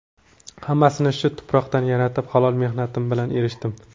Hammasini shu tuproqdan yaratib, halol mehnatim bilan erishdim.